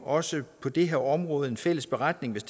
også på det her område laver en fælles beretning hvis